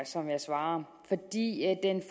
som jeg svarer